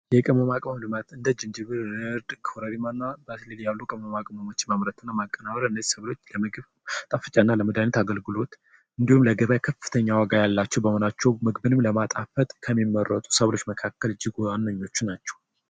የቅመማ ቅመም ልማት እንደ ዝንጅብል ኮረሪማ ያሉ ቅመማቅሞችን ማምረት እነዚህ ሰብሎች ለምግብ ማጣፈጫነትና ለመድሀኒትነት አገልግሎት እንዲሁም በገበያ ከፍተኛ ዋጋ ያላቸው በመሆናቸው ምግብንም ለማጣፈጥ ከሚመረጡ ሰዎች መካከል እጅጉን ዋነኞቹ ናቸው።